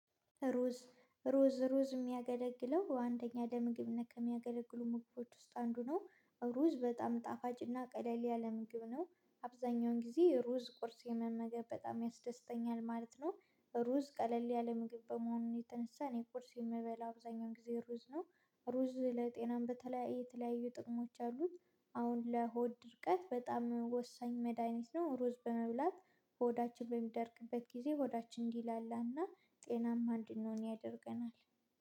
ሩዝ ሩዝ ሩዝ የሚያገለግለው አንደኛ ለምግብ ነክ የሚያገለግሉ ምግቦች ውስጥ አንዱ ነው ሩዝ ቀጣም ጣፋጭና ቀለል ያለ ምግብ ነው አብዛኛውን ጊዜ ሩዝ ቁርስ የመመገብ በጣም ያስደስተኛል ማለት ነው። ሩዝ ቀለል ያለ ምግብ በመሆኑ የተነሳ እኔ ቁርስ የምበላው አብዛኛው ጊዜ ሩዝ ነው ሩዝ ለጤናም በተለያየ የተለያዩ ጥቅሞች አሉት። አሁን ለሆድ ድርቀት በጣም ወሳኝ መድሃኒት ነው ሩዝ በመብላት ሆዳችን በሚደርቅበት ጊዜ ሆዳችን እንዲላላና ጤናማ እንድንሆን ያደርገናል